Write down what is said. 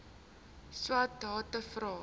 swathe vra